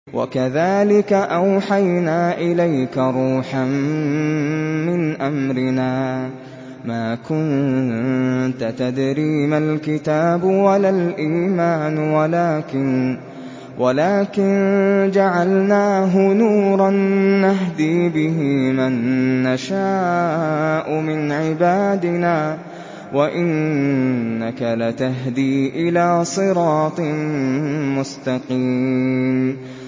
وَكَذَٰلِكَ أَوْحَيْنَا إِلَيْكَ رُوحًا مِّنْ أَمْرِنَا ۚ مَا كُنتَ تَدْرِي مَا الْكِتَابُ وَلَا الْإِيمَانُ وَلَٰكِن جَعَلْنَاهُ نُورًا نَّهْدِي بِهِ مَن نَّشَاءُ مِنْ عِبَادِنَا ۚ وَإِنَّكَ لَتَهْدِي إِلَىٰ صِرَاطٍ مُّسْتَقِيمٍ